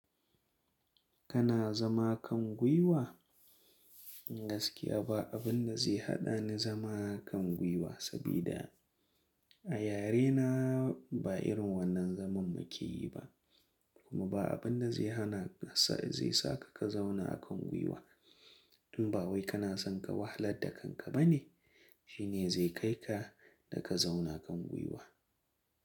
Kana zama kan gwiwa? Gaskiya ba abin da zai haɗa ni zama kan gwiwa saboda a yarena ba irin wannan zaman muke yi ba, kuma ba abin da zai hana sa zai sa ka ka zauna akan gwiwa. In ba wai kana son ka wahalar da kanka ba ne, shine zai kai ka da ka zauna kan gwiwa.